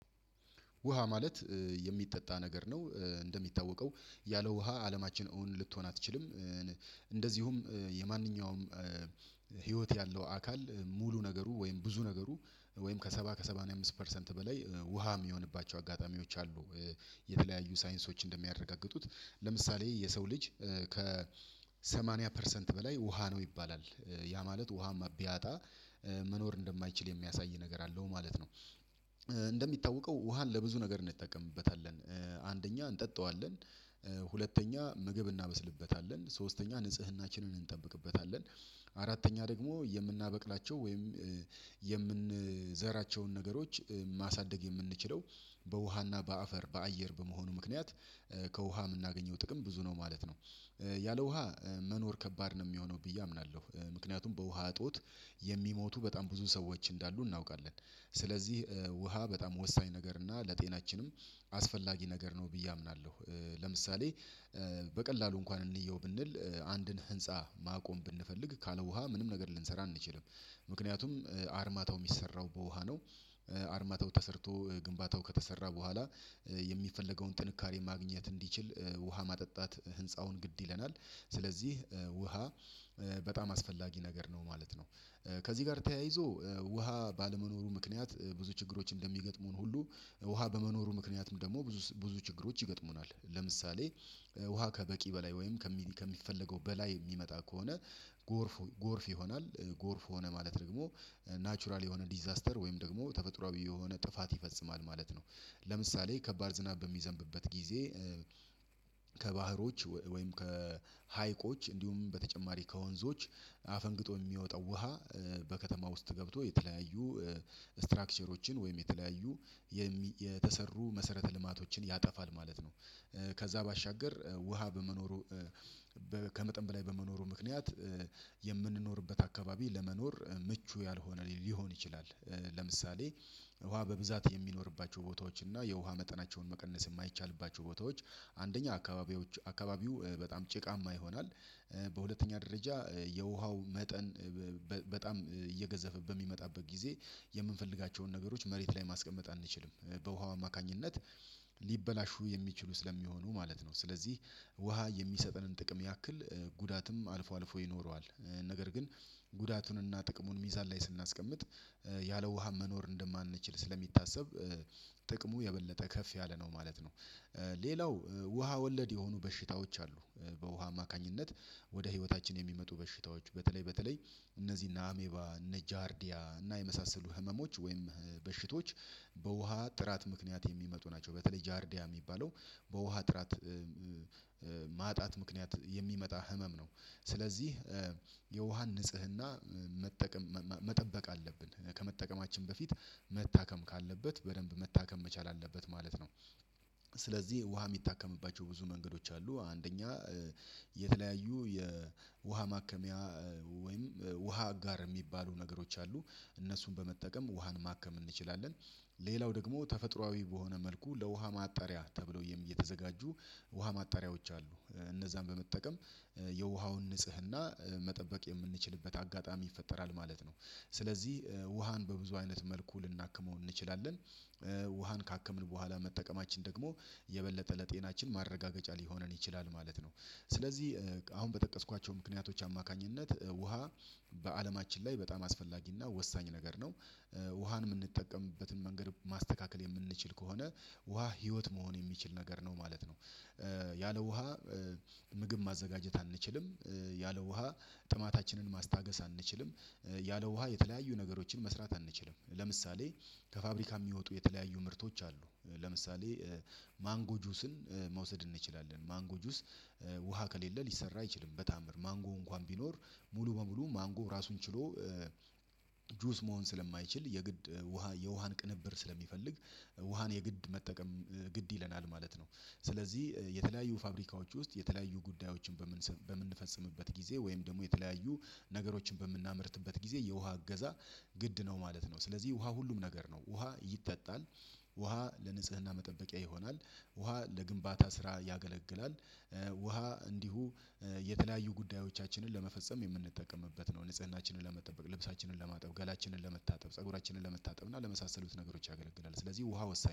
ውሃ ማለት የሚጠጣ ነገር ነው እንደሚታወቀው ያለ ውሃ አለማችን እውን ልትሆን አትችልም። እንደዚሁም የማንኛውም ህይወት ያለው አካል ሙሉ ነገሩ ወይም ብዙ ነገሩ ወይም ከ ሰባ ከ ሰማኒያ አምስት ፐርሰንት በላይ ውሃ የሚሆንባቸው አጋጣሚዎች አሉ። የተለያዩ ሳይንሶች እንደሚያረጋግጡት ለምሳሌ የሰው ልጅ ከ ሰማንያ ፐርሰንት በላይ ውሃ ነው ይባላል ያ ማለት ውሃ ሚቢያጣ መኖር እንደማይችል የሚያሳይ ነገር አለው ማለት ነው። እንደሚታወቀው ውሃን ለብዙ ነገር እንጠቀምበታለን አንደኛ እንጠጣዋለን ሁለተኛ ምግብ እናበስልበታለን ሶስተኛ ንጽህናችንን እንጠብቅበታለን። አራተኛ ደግሞ የምናበቅላቸው ወይም የምንዘራቸውን ነገሮች ማሳደግ የምንችለው በውሃና በአፈር በአየር በመሆኑ ምክንያት ከውሃ የምናገኘው ጥቅም ብዙ ነው ማለት ነው። ያለ ውሃ መኖር ከባድ ነው የሚሆነው ብዬ አምናለሁ። ምክንያቱም በውሃ እጦት የሚሞቱ በጣም ብዙ ሰዎች እንዳሉ እናውቃለን። ስለዚህ ውሃ በጣም ወሳኝ ነገር እና ለጤናችንም አስፈላጊ ነገር ነው ብዬ አምናለሁ። ለምሳሌ በቀላሉ እንኳን እንየው ብንል አንድን ህንፃ ማቆም ብንፈልግ ካለ ውሃ ምንም ነገር ልንሰራ አንችልም ምክንያቱም አርማታው የሚሰራው በውሃ ነው። አርማታው ተሰርቶ ግንባታው ከተሰራ በኋላ የሚፈለገውን ጥንካሬ ማግኘት እንዲችል ውሃ ማጠጣት ህንፃውን ግድ ይለናል። ስለዚህ ውሃ በጣም አስፈላጊ ነገር ነው ማለት ነው። ከዚህ ጋር ተያይዞ ውሃ ባለመኖሩ ምክንያት ብዙ ችግሮች እንደሚገጥሙን ሁሉ ውሃ በመኖሩ ምክንያትም ደግሞ ብዙ ብዙ ችግሮች ይገጥሙናል። ለምሳሌ ውሃ ከበቂ በላይ ወይም ከሚፈለገው በላይ የሚመጣ ከሆነ ጎርፍ ጎርፍ ይሆናል ጎርፍ ሆነ ማለት ደግሞ ናቹራል የሆነ ዲዛስተር ወይም ደግሞ ተፈጥሮአዊ የሆነ ጥፋት ይፈጽማል ማለት ነው። ለምሳሌ ከባድ ዝናብ በሚዘንብበት ጊዜ ከባህሮች ወይም ከሀይቆች እንዲሁም በተጨማሪ ከወንዞች አፈንግጦ የሚወጣው ውሃ በከተማ ውስጥ ገብቶ የተለያዩ ስትራክቸሮችን ወይም የተለያዩ የተሰሩ መሰረተ ልማቶችን ያጠፋል ማለት ነው። ከዛ ባሻገር ውሃ በመኖሩ ከመጠን በላይ በመኖሩ ምክንያት የምንኖርበት አካባቢ ለመኖር ምቹ ያልሆነ ሊሆን ይችላል። ለምሳሌ ውሃ በብዛት የሚኖርባቸው ቦታዎች እና የውሃ መጠናቸውን መቀነስ የማይቻልባቸው ቦታዎች አንደኛ አካባቢዎች አካባቢው በጣም ጭቃማ ይሆናል። በሁለተኛ ደረጃ የውሃው መጠን በጣም እየገዘፈበ በሚመጣበት ጊዜ የምንፈልጋቸውን ነገሮች መሬት ላይ ማስቀመጥ አንችልም በውሃው አማካኝነት ሊበላሹ የሚችሉ ስለሚሆኑ ማለት ነው። ስለዚህ ውሃ የሚሰጠንን ጥቅም ያክል ጉዳትም አልፎ አልፎ ይኖረዋል። ነገር ግን ጉዳቱንና ጥቅሙን ሚዛን ላይ ስናስቀምጥ ያለ ውሃ መኖር እንደማንችል ስለሚታሰብ ጥቅሙ የበለጠ ከፍ ያለ ነው ማለት ነው። ሌላው ውሃ ወለድ የሆኑ በሽታዎች አሉ። በውሃ አማካኝነት ወደ ህይወታችን የሚመጡ በሽታዎች በተለይ በተለይ እነዚህና አሜባ እነ ጃርዲያ እና የመሳሰሉ ህመሞች ወይም በሽቶች በውሃ ጥራት ምክንያት የሚመጡ ናቸው። በተለይ ጃርዲያ የሚባለው በውሃ ጥራት ማጣት ምክንያት የሚመጣ ህመም ነው። ስለዚህ የውሃን ንጽህና መጠቀም መጠበቅ አለብን ከመጠቀማችን በፊት መታከም ካለበት በደንብ መታከም መቻል አለበት ማለት ነው። ስለዚህ ውሃ የሚታከምባቸው ብዙ መንገዶች አሉ አንደኛ የተለያዩ የውሃ ማከሚያ ወይም ውሃ አጋር የሚባሉ ነገሮች አሉ እነሱን በመጠቀም ውሃን ማከም እንችላለን። ሌላው ደግሞ ተፈጥሮአዊ በሆነ መልኩ ለውሃ ማጣሪያ ተብሎ የተዘጋጁ ውሃ ማጣሪያዎች አሉ እነዛን በመጠቀም የውሃውን ንጽህና መጠበቅ የምንችልበት አጋጣሚ ይፈጠራል ማለት ነው። ስለዚህ ውሃን በብዙ አይነት መልኩ ልናክመው እንችላለን። ውሃን ካክምን በኋላ መጠቀማችን ደግሞ የበለጠ ለጤናችን ማረጋገጫ ሊሆነን ይችላል ማለት ነው። ስለዚህ አሁን በጠቀስኳቸው ምክንያቶች አማካኝነት ውሃ በአለማችን ላይ በጣም አስፈላጊና ወሳኝ ነገር ነው። ውሃን የምንጠቀምበትን መንገድ ማስተካከል የምንችል ከሆነ ውሃ ህይወት መሆን የሚችል ነገር ነው ማለት ነው። ያለ ውሃ ምግብ ማዘጋጀት አንችልም። ያለ ውሃ ጥማታችንን ማስታገስ አንችልም። ያለ ውሃ የተለያዩ ነገሮችን መስራት አንችልም። ለምሳሌ ከፋብሪካ የሚወጡ የተለያዩ ምርቶች አሉ። ለምሳሌ ማንጎ ጁስን መውሰድ እንችላለን ማንጎ ጁስ ውሃ ከሌለ ሊሰራ አይችልም። በተአምር ማንጎ እንኳን ቢኖር ሙሉ በሙሉ ማንጎ ራሱን ችሎ ጁስ መሆን ስለማይችል የግድ ውሃ የውሃን ቅንብር ስለሚፈልግ ውሃን የግድ መጠቀም ግድ ይለናል ማለት ነው። ስለዚህ የተለያዩ ፋብሪካዎች ውስጥ የተለያዩ ጉዳዮችን በምን በምንፈጽምበት ጊዜ ወይም ደግሞ የተለያዩ ነገሮችን በምናመርትበት ጊዜ የውሃ እገዛ ግድ ነው ማለት ነው። ስለዚህ ውሃ ሁሉም ነገር ነው ውሃ ይጠጣል። ውሃ ለንጽህና መጠበቂያ ይሆናል። ውሃ ለግንባታ ስራ ያገለግላል። ውሃ እንዲሁ የተለያዩ ጉዳዮቻችንን ለመፈጸም የምንጠቀምበት ነው ንጽህናችንን ለመጠበቅ ልብሳችንን ለማጠብ ገላችንን ለመታጠብ ፀጉራችንን ለመታጠብ እና ለመሳሰሉት ነገሮች ያገለግላል ስለዚህ ውሃ ወሳኝ